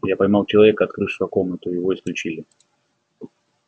я поймал человека открывшего комнату и его исключили